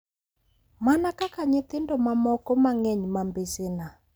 Mana kaka nyithindo mamoko mang’eny ma mbesena,